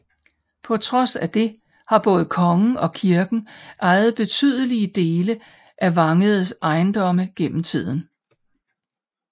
På trods af det har både kongen og kirken ejet betydelige dele af Vangedes ejendomme gennem tiden